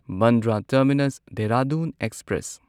Bandra terminus Dehradun express